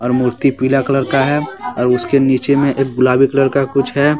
मूर्ति पीला कलर का है और उसके नीचे में एक गुलाबी कलर का कुछ है।